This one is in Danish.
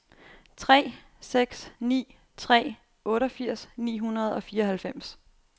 tre seks ni tre otteogfirs ni hundrede og fireoghalvfems